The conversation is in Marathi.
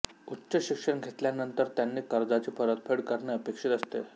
उच्च शिक्षण घेतल्यानंतर त्यांनी कर्जाची परतफेड करणे अपेक्षित असते